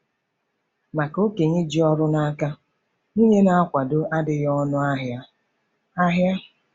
Maka okenye ji ọrụ n'aka, nwunye na-akwado adịghị ọnụ ahịa! ahịa!